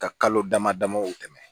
Ka kalo dama damaw tɛmɛ